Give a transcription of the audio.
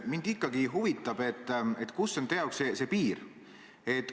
Mind ikkagi huvitab, kus on teie jaoks see piir.